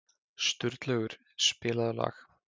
Sturlaugur, spilaðu lag.